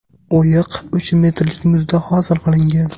O‘yiq uch metrlik muzda hosil qilingan.